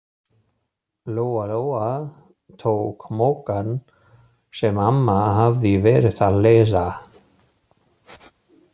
Lóa-Lóa tók Moggann sem amma hafði verið að lesa.